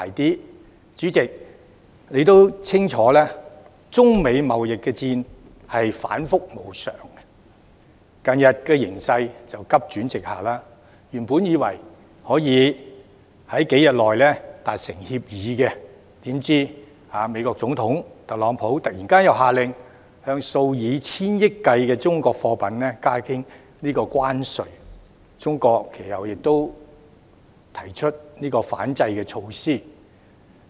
代理主席，你也清楚，中美貿易戰反覆無常，近日形勢更急轉直下；原本以為可以在數天內達成協議，怎料美國總統特朗普突然下令向數以千億元計的中國貨品加徵關稅，中國其後亦推出反制措施。